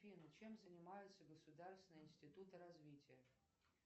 афина чем занимаются государственные институты развития